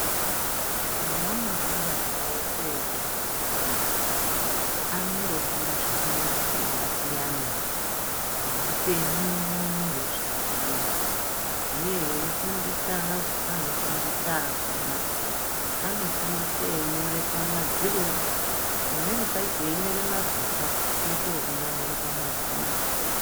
Heanobuda ana edu eiende kusikuru anondofunda zvakandosiyana -siyana. Zveupenyu nezveutano uye veifundisa anofundisa akhona, anofundise einyore pamadziro pamweni pacho einyore mapepa oito ekunamire pamadziro.